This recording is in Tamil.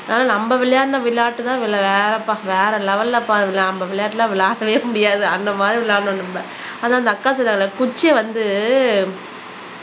ஆனா நம்ம விளையாடின விளையாட்டுதான் வேறப்பா வேற லெவல்ல பாருங்களேன் நம்ம விளையாட்டு எல்லாம் விளையாடவே முடியாது அந்த மாதிரி விளையாடணும் நம்ம ஆனா அந்த அக்கா சொன்னால குச்சியை வந்து